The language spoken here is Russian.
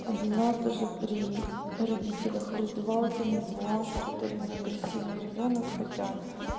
один раз даже при родителях в раздевалке назвала что дарина агрессивный ребёнок хотя